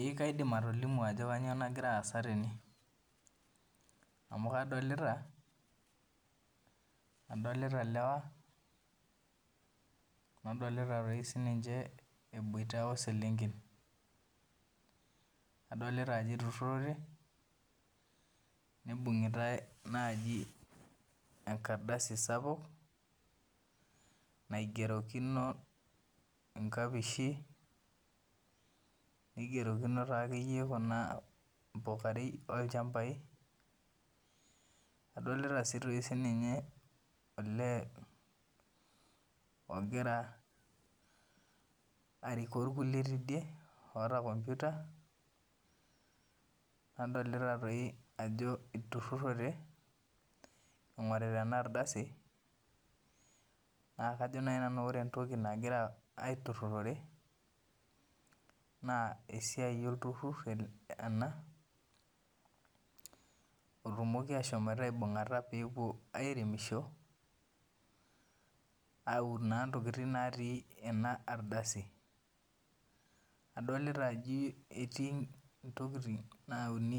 Eekaidim atilimu ajo kanyioo nagira aasa tene amu kadolita ilewa nadolita eiboita oselenken adolita ajo eitururote neibung'i ta enkardasi sapuk naigerokoki inkapishi neigeroki naa kayie impukarei nadolita siininye olee ogira arikoo irkulie tidie olta komputa nadolita ajo etururote eingorita ena adrasi naa kajo naaji nanu esia olturur ena otumomi aibung'ata peun intokitin natii ena ardasi adolita ajo etii intokiti. Naauni